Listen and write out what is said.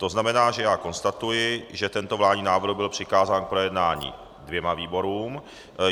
To znamená, že já konstatuji, že tento vládní návrh byl přikázán k projednání dvěma výborům.